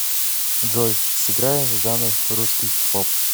джой сыграй жанр русский поп